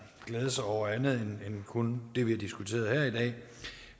glæde sig over andet end kun det vi diskuterer her i dag